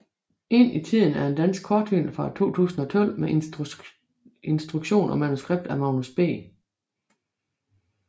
Ind i tiden er en dansk kortfilm fra 2012 med instruktion og manuskript af Magnus B